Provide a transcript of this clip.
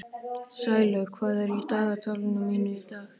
Sælaug, hvað er í dagatalinu mínu í dag?